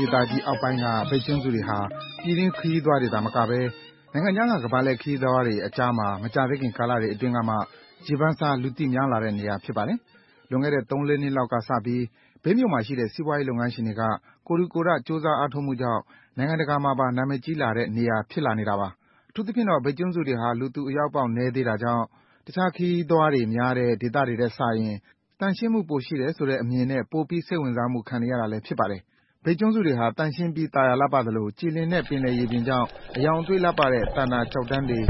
ဒေသကြီးအောက်ပိုင်းက မြိတ်ကျွန်းစုတွေဟာ ပြည်တွင်းခရီးသွားတွေသာမကဘဲ နိုင်ငံခြားက ခရီးသွားတွေအကြားမှာ မကြာသေးမီကာလတွေအတွင်းက ရေပန်းစား၊ လူသိများလာတဲ့နေရာ ဖြစ်ပါတယ်။ လွန်ခဲ့တဲ့ သုံးလေးနှစ်လောက်ကစပြီး မြိတ်မြို့မှာရှိတဲ့ စီးပွားရေးလုပ်ငန်းရှင်တွေက ကိုယ်ထူကိုယ်ထ၊ ကြိုးစားအားထုတ်မှုကြောင့် နိုင်ငံတကာမှာပါ နာမည်ကြီးလာတဲ့နေရာ ဖြစ်လာနေတာပါ။ အထူသဖြင့်တော့ မြိတ်ကျွန်းစုတွေဟာ လူသူအရောက်ပေါက်နည်းသေးတာမို့၊ တခြားခရီးသွားများတဲ့ ဒေသတွေထက်စာရင် သန့်ရှင်းမှု ပိုရှိတယ်ဆိုတဲ့အမြင်နဲ့ ပိုပြီးစိတ်ဝင်စားမှု ခံနေရတာလည်း ဖြစ်ပါတယ်။ မြိတ်ကျွန်းစုတွေဟာ သန့်ရှင်းပြီး သာယာလှပသလို၊ ကြည်လင်တဲ့ ပင်လယ်ရေပြင်ကြောင့် အရောင်အသွေးလှပတဲ့ သန္တာကျောက်တန်းတွေ